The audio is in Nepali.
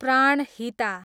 प्राणहिता